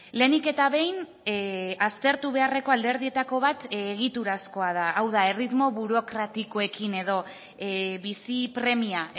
lehenik eta behin aztertu beharreko alderdietako bat egiturazkoa da hau da erritmo burokratikoekin edo bizi premia